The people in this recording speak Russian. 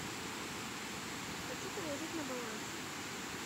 хочу положить на баланс